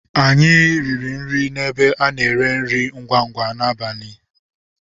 Anyị riri nri n'ebe a na-ere nri ngwa ngwa n'abalị Lass.